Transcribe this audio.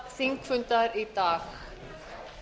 þingfunda í dag